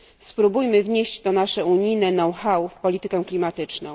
Spróbujmy wnieść to nasze unijne w politykę klimatyczną.